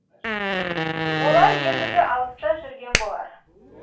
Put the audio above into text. олар ендігі алыста жүрген болар